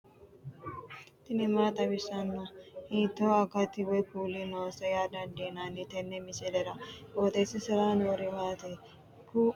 tini maa xawissanno ? hiitto akati woy kuuli noose yaa dandiinanni tenne misilera? qooxeessisera noori maati? kuni kuni dadallanni baycho lawannohu maati me''eu dani uduunni noowaati